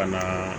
Ka na